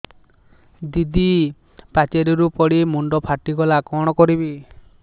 ଦିଦି ପାଚେରୀରୁ ପଡି ମୁଣ୍ଡ ଫାଟିଗଲା କଣ କରିବି